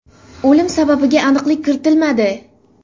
O‘lim sababiga aniqlik kiritilmadi.